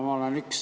Aitäh!